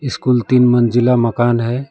School तीन मंजिला मकान है।